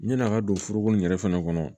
Ɲani a ka don foroko in yɛrɛ fana kɔnɔ